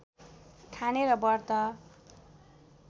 खाने र व्रत